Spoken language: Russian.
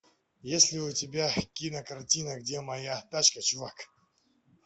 есть ли у тебя кинокартина где моя тачка чувак